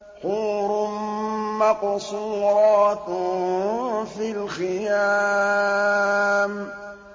حُورٌ مَّقْصُورَاتٌ فِي الْخِيَامِ